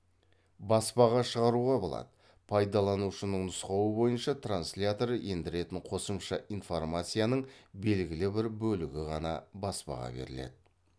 баспаға шығаруға болады пайдаланушының нұсқауы бойынша транслятор ендіретін қосымша информацияның белгілі бір бөлігі ғана баспаға беріледі